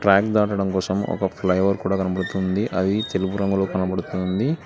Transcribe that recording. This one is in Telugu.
ట్రాక్ దాటడం కోసం ఒక ఫ్లైఓవర్ కూడా కనబడుతుంది అది తెలుపు రంగులో కనబడుతుంది.